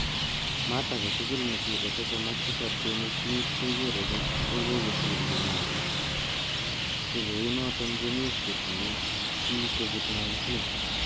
Maat agetugul nesire sosom ak tisab kenuch mut kekere kokosir che nyolu, ko kounoton komuch kotinye chii covid - 19.